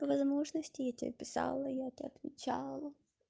возможности я тебе писала я отвечала